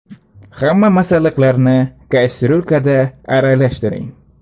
Hamma masalliqlarni kastyulkada aralashtiring.